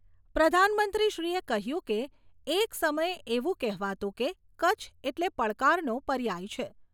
પ્રધાનમંત્રીશ્રીએ કહ્યું કે, એક સમયે એવુ કહેવાતું કે કચ્છ એટલે પડકારનો પર્યાય છે.